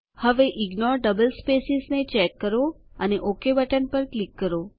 હવે ignore double spaces ને check કરો અને ઓક બટન પર ક્લિક કરો